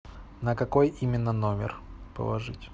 на какой именно номер положить